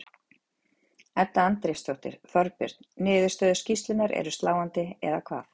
Edda Andrésdóttir: Þorbjörn, niðurstöður skýrslunnar eru sláandi, eða hvað?